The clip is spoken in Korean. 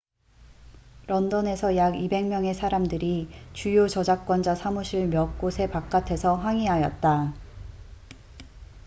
런던에서 약 200명의 사람들이 주요 저작권자 사무실 몇 곳의 바깥에서 항의하였다